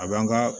A b'an ka